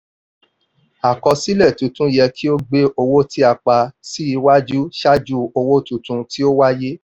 àkọsílẹ̀ tuntun yẹ kí ó gbé owó tí a pa sí iwájú ṣáájú owó tuntun tí ó wáyé.